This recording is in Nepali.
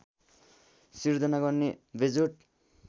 सिर्जना गर्ने बेजोड